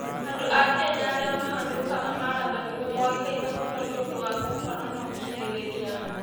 Andũ a Kenya arĩa mahanyũkaga marathoni nĩ moĩkaine mũno nĩ ũndũ wa gũkorũo na ũkirĩrĩria.